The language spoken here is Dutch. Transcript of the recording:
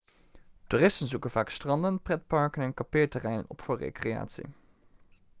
toeristen zoeken vaak stranden pretparken en kampeerterreinen op voor recreatie